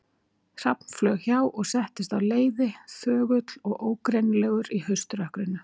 Hrafn flaug hjá og settist á leiði, þögull og ógreinilegur í hauströkkrinu.